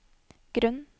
grunn